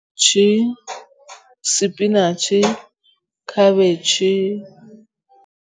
Ke sepinatšhe, khabetšhe